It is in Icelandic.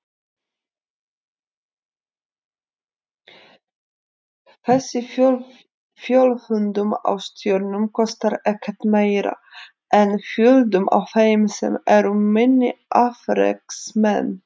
Þessi fjölföldun á stjörnum kostar ekkert meira en fjölföldun á þeim sem eru minni afreksmenn.